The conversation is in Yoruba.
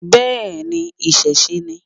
Bẹ́ẹ̀ni, ìṣẹ̀ṣẹ ni.